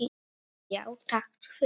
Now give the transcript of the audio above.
Já, takk fyrir.